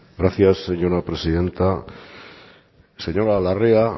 gracias señora presidenta señora larrea